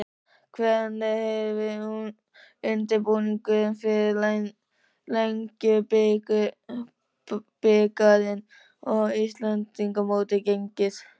Hvernig hefur undirbúningur fyrir Lengjubikarinn og Íslandsmótið gengið?